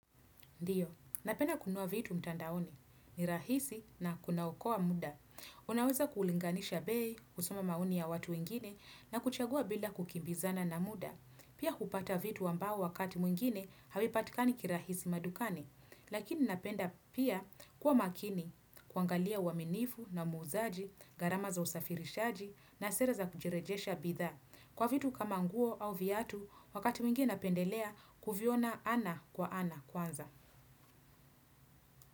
Ndiyo, napenda kununua vitu mtandaoni, ni rahisi na kuna okoa muda. Unaweza kulinganisha bei, kusoma maoni ya watu wengine na kuchagua bila kukimbizana na muda. Pia hupata vitu ambao wakati mwingine, havipatikani kirahisi madukani. Lakini napenda pia kuwa makini, kuangalia uaminifu na muzaji, gharama za usafirishaji na sera za kujirejesha bidhaa. Kwa vitu kama nguo au viatu, wakati mwingine napendelea, kuviona ana kwa ana kwanza.